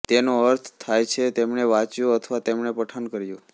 તેનો અર્થ થાય છે તેમણે વાંચ્યું અથવા તેમણે પઠન કર્યું